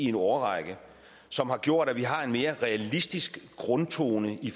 en årrække som har gjort at vi har en mere realistisk grundtone i